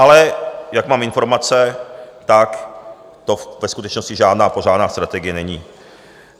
Ale jak mám informace, tak to ve skutečnosti žádná pořádná strategie není.